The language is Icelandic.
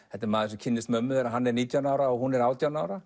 þetta er maður sem kynnist mömmu þegar hann er nítján ára og hún er átján ára